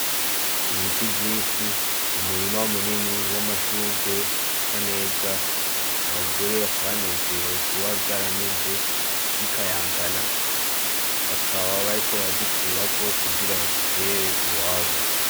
Ibiti vyishi umurima munini w'amashurwe asa neza abagore bakaba banezerewe kuba vyarameze bikayangana bakaba bariko barazikurako kugira bazitere iwabo